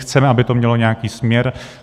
Chceme, aby to mělo nějaký směr.